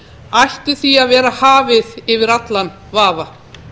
ætti því að vera hafið yfir allan vafa